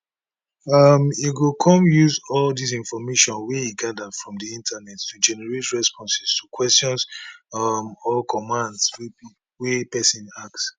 um e go come use all of dis information wey e gada from di internet to generate responses to questions um or commands wey pesin ask